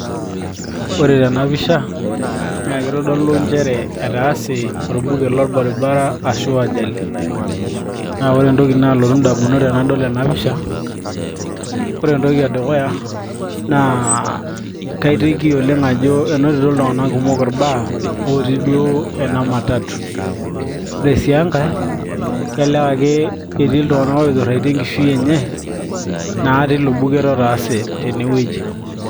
ore tenapisha naa kitodolu nchere etaase orbuket lorbaribara ashu ajali naa ore entoki naalotu indamunot tenadol ena pisha ore entoki edukuya naa kaiteki oleng ajo enotito iltung'anak kumok irbaa otii duo ena matatu ore sii enkay kelelek ake etii iltung'anak oiturraitie enkishui enye naa tilo buket naa otaase tenewueji.